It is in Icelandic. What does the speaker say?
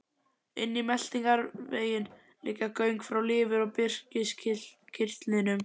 Inn í meltingarveginn liggja göng frá lifur og briskirtlinum.